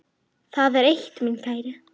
Og hinir sögðu: